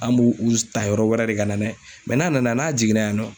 An b'u u s ta yɔrɔ wɛrɛ de ka na ye mɛ n'a nana n'a jiginna yan nɔ